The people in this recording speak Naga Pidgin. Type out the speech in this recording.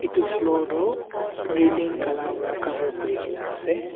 Etu floor toh railing kala para cover kurikena ase.